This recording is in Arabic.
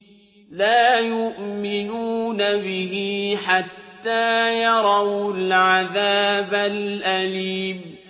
لَا يُؤْمِنُونَ بِهِ حَتَّىٰ يَرَوُا الْعَذَابَ الْأَلِيمَ